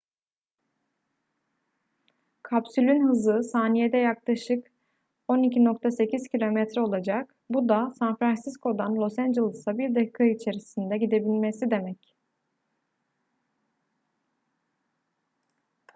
kapsülün hızı saniyede yaklaşık 12.8 km olacak bu da san francisco'dan los angeles'a bir dakika içerisinde gidebilmesi demek